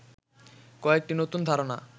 কয়েকটি নতুন ধারণা